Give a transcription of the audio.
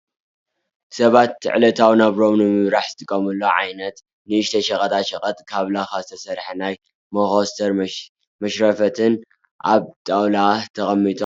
ሰባት ዕለታዊ ናብርኦም ንምምራሕ ዝጥቀሙሉ ዓይነት ንእሽተይ ሸቀጣ ሸቀጥ ካብ ላካ ዝተሰርሐ ናይ መኮስተር፣ መሽረፈትን ኣብ ጣውላ ተቀሚጡ ኣሎ ።